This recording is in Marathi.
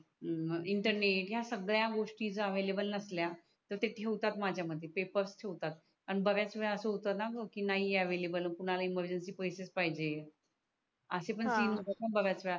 इंटरनेट हया संगड्या गोष्टी एवलेबल नसल्या तर ते तर ठेवतात माझ्या मध्ये कच ठेवतात अन बऱ्याच वेळा अस होत णा ग की नाही एवलेबल पुन्हा एमर्जन्सि पैसे पाहिजे असे पण हा शिन होतात बऱ्याच वेळा